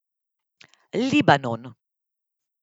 Libanon.